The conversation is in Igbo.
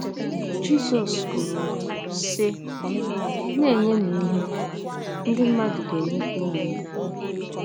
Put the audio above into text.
Jizọs kwuru, sị: “ Na - enyenụ ihe, ndị mmadụ ga - enyekwa unu ihe.